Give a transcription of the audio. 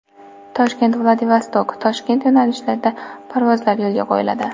Toshkent-Vladivostok-Toshkent yo‘nalishida parvozlar yo‘lga qo‘yiladi.